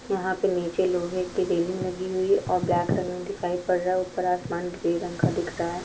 यहा पर नीचे लोहे की रेलिंग लगी हुई है और दिखाई पड़ रहा है ऊपर आसमान ग्रे रंग का दिख रहा है।